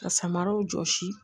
Ka samaraw jɔsi